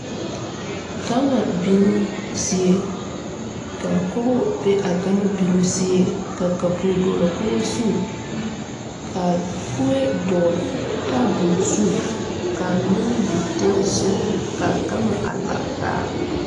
Gama binoo zie kaa kogo be a gama binoo zie ka kapure dɔɔlaa kogo zu ka kuee dɔɔle tabol zu kaa mine meŋ biŋ teŋɛsugɔ kaa gama a lare taa.